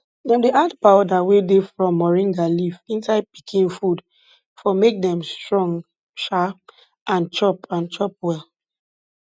dem dey add powder wey dey from moringa leaf inside pikin food for make dem strong um and chop and chop well